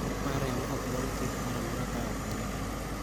Nok mar remo okdwar thieth moramora kaok omedore.